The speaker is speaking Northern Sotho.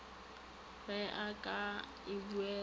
ge o ka e buela